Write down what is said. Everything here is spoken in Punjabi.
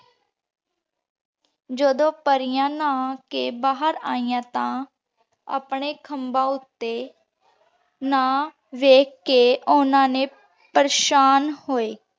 ਜਦੋਂ ਪਾਰਿਯਾੰ ਨਹਾ ਕੇ ਬਹਿਰ ਈਯਾਨ ਤੇ ਅਪਨੇ ਖੰਭਾਂ ਊਟੀ ਨਾ ਵੇਖ ਕੇ ਓਹਨਾਂ ਨੇ ਪਰੇਸ਼ਾਨ ਹੋਆਯ